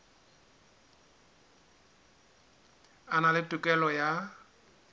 a na le tokelo ya